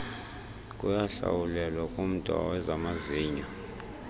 kuyakuhlawulelwa kumda wezamazinyo